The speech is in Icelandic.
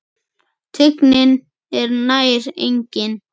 Teygnin er nær engin.